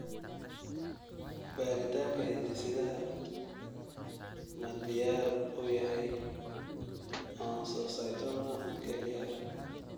Baaritaanka hidde-sidaha ma diyaar u yahay oncocytoma kelyaha?